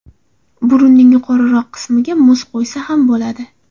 Burunning yuqoriroq qismiga muz qo‘ysa ham bo‘ladi.